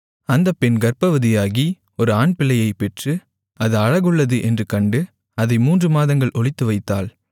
அந்த பெண் கர்ப்பவதியாகி ஒரு ஆண்பிள்ளையைப் பெற்று அது அழகுள்ளது என்று கண்டு அதை மூன்று மாதங்கள் ஒளித்துவைத்தாள்